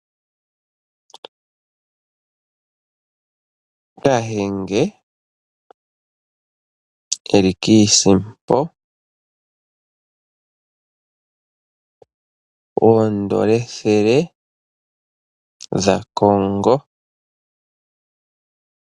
Kahenge eli kiisimpo, oondola ethele dhaCongo.